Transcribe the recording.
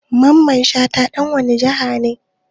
Mamman shata ɗan wane jiha ne?